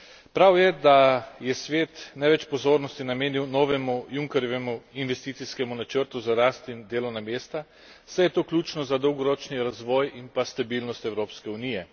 Prav je, da je Svet največ pozornosti namenil novemu Junckerjevemu investicijskemu načrtu za rast in delovna mesta, saj je to ključno za dolgoročni razvoj in pa stabilnost Evropske unije.